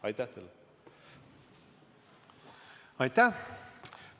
Aitäh!